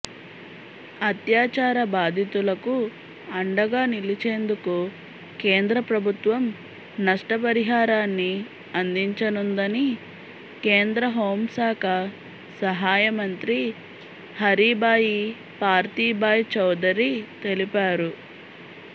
అత్యాచార బాధితులకుఅండగా నిలిచేందుకు కేంద్ర ప్రభుత్వంనష్టపరిహారాన్ని అందించనుందని కేంద్రహోం శాఖ సహాయ మంత్రి హరీభాయిపార్తీభాయ్ చౌదరి తెలిపారు